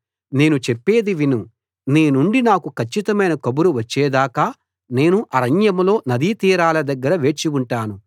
నేను చెప్పేది విను నీ నుండి నాకు కచ్చితమైన కబురు వచ్చేదాకా నేను అరణ్యంలో నది తీరాల దగ్గర వేచి ఉంటాను